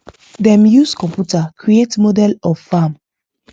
dem use computer create model of farm